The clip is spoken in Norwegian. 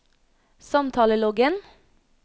samtaleloggen